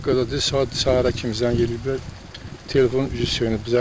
Hətta qədər də saat səhərə kimi zəng eləyiblər, telefon üzü sönüb.